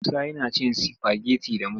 Musa yana cin sifageti da mai.